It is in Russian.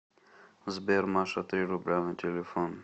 сбер маша три рубля на телефон